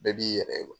Bɛɛ b'i yɛrɛ ye